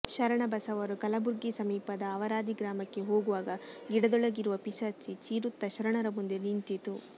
ಶರಣಬಸವರು ಕಲಬುರ್ಗಿ ಸಮೀಪದದ ಅವರಾದಿ ಗ್ರಾಮಕ್ಕೆ ಹೋಗುವಾಗ ಗಿಡದೊಳಗಿರುವ ಪಿಶಾಚಿ ಚೀರುತ್ತಾ ಶರಣರ ಮುಂದೆ ನಿಂತಿತು